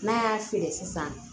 N'a y'a feere sisan